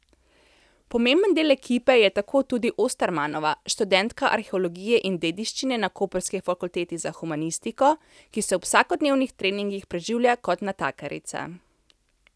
Pomemben del ekipe je tako tudi Ostermanova, študentka arheologije in dediščine na koprski Fakulteti za humanistiko, ki se ob vsakodnevnih treningih preživlja kot natakarica.